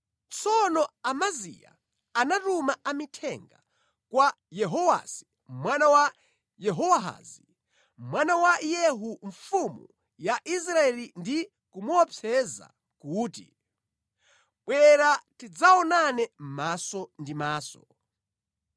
Tsono Amaziya anatuma amithenga kwa Yehowasi mwana wa Yehowahazi, mwana wa Yehu mfumu ya Israeli ndi kumuopseza kuti, “Bwera tidzaonane maso ndi maso.”